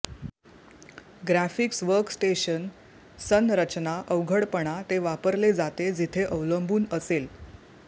graphics workstation संरचना अवघडपणा ते वापरले जाते जेथे अवलंबून असेल